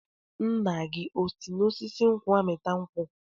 Nna gị o si n'osisi nkwụ amịta nkwụ?